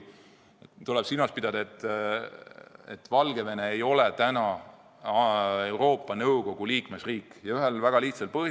Tuleb silmas pidada, et Valgevene ei ole Euroopa Nõukogu liikmesriik, ja seda ühel väga lihtsal põhjusel.